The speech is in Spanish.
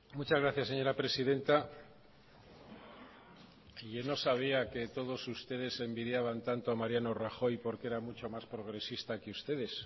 muchas gracias señora presidenta yo no sabía que todos ustedes envidiaban tanto a mariano rajoy porque era mucho más progresista que ustedes